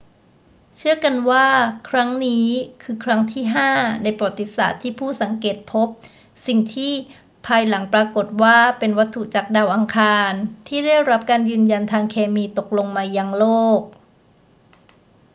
เชื่อกันว่าครั้งนี้คือครั้งที่ห้าในประวัติศาสตร์ที่ผู้สังเกตพบสิ่งที่ภายหลังปรากฏว่าเป็นวัตถุจากดาวอังคารที่ได้รับการยืนยันทางเคมีตกลงมายังโลก